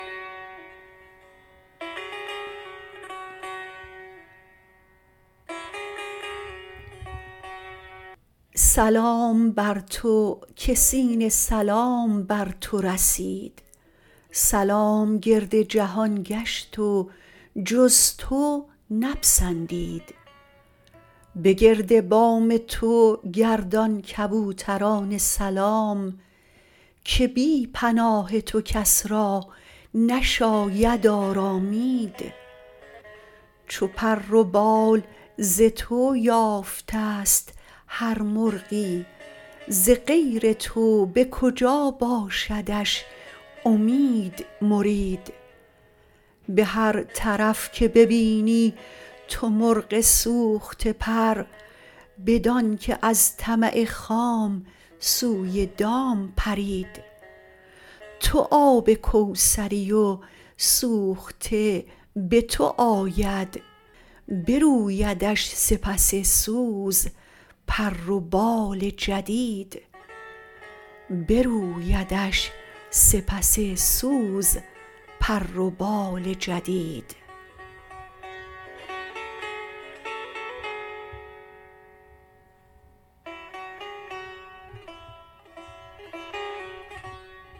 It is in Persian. سلام بر تو که سین سلام بر تو رسید سلام گرد جهان گشت جز تو نپسندید بگرد بام تو گردان کبوتران سلام که بی پناه تو کس را نشاید آرامید چو پر و بال ز تو یافتست هر مرغی ز غیر تو به کجا باشدش امید مرید به هر طرف که ببینی تو مرغ سوخته پر بدان که از طمع خام سوی دام پرید تو آب کوثری و سوخته به تو آید برویدش سپس سوز پر و بال جدید